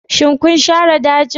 Shin kun share dajin?